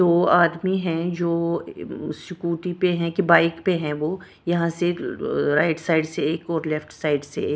दो आदमी हैं जो स्कूटी पे हैं कि बाइक पे हैं वो यहां से राइट साइड से एक और लेफ्ट साइड से एक।